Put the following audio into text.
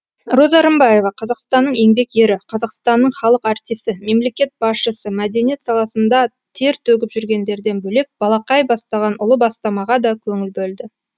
роза рымбаева қазақстанның еңбек ері қазақстанның халық артисі мемлекет басшысы мәдениет саласында тер төгіп жүргендерден бөлек балақай бастаған ұлы бастамаға да көңіл бөлді